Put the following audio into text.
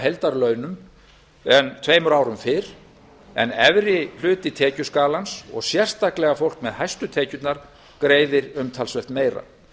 heildarlaunum en tveimur árum fyrr en efri hluti tekjuskalans og sérstaklega fólk með hæstu tekjurnar greiðir umtalsvert meira